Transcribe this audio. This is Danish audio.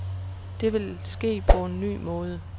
Det vil ske på en ny måde.